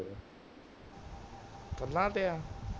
ਫੁੱਲਾਂ ਤੇ ਆ